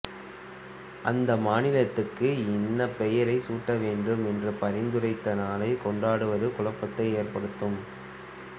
அந்த மாநிலத்துக்கு இன்ன பெயர் சூட்டவேண்டும் என்று பரிந்துரைத்த நாளை கொண்டாடுவது குழப்பத்தை ஏற்படுத்தும்